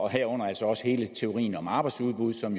herunder altså også hele teorien om arbejdsudbud som